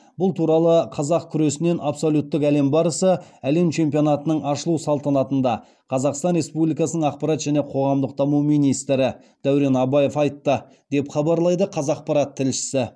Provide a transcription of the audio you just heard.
бұл туралы қазақ күресінен абсолюттік әлем барысы әлем чемпионатының ашылу салтанатында қазақстан республикасы ақпарат және қоғамдық даму министрі дәурен абаев айтты деп хабарлайды қазақпарат тілшісі